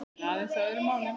En aðeins að öðrum málum.